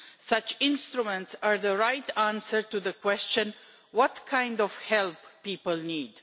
Such instruments are the right answer to the question what kind of help do people need?